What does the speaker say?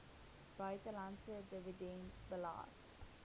buitelandse dividend belas